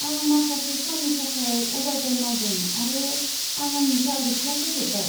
आं माखासे साननि थाखाय अभारटाइम मावदों आरो आं आंनि टारगेटखौ फोजोब्बाय।